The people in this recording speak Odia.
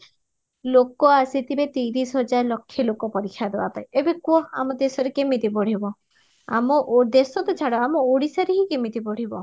ଲୋକ ଆସିଥିବେ ତିରିଶ ହଜାର ଲକ୍ଷେ ଲୋକ ପରୀକ୍ଷା ଦବା ପାଇଁ ଏବେ କୁହ ଆମ ଦେଶରେ କେମିତି ବଢିବ ଆମ ଓ ଦେଶ ତ ଛଡା ଆମ ଓଡିଶାରେ ହି କେମିତି ବଢିବ